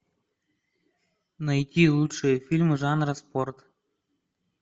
найти лучшие фильмы жанра спорт